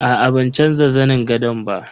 Aa ban canza zanin gadon ba.